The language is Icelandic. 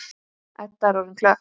Edda er orðin klökk.